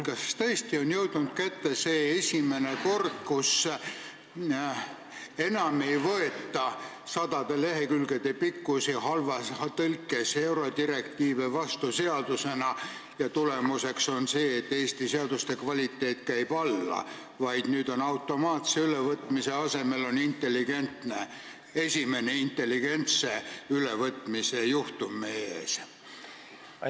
Kas tõesti on jõudnud kätte see esimene kord, kus enam ei võeta sadade lehekülgede pikkusi halvas tõlkes eurodirektiive seadusena vastu ja tulemus on see, et Eesti seaduste kvaliteet käib alla, vaid nüüd on automaatse ülevõtmise asemel esimene intelligentse ülevõtmise juhtum meie ees?